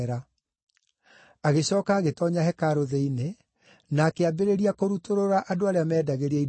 Agĩcooka agĩtoonya hekarũ thĩinĩ, na akĩambĩrĩria kũrutũrũra andũ arĩa meendagĩria indo kuo.